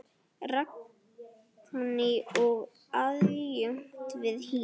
Ragný er aðjunkt við HÍ.